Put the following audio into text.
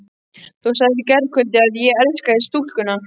Þú sagðir í gærkvöldi að ég elskaði stúlkuna.